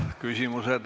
Nüüd küsimused.